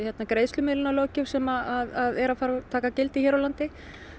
greiðslumiðlunarlöggjöf sem er að fara að taka gildi hér á landi